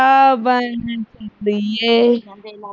ਬਣ ਦੀ ਐ